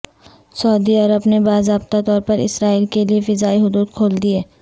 سعودی عرب نے باضابطہ طور پر اسرائیل کے لیے فضائی حدود کھول دیں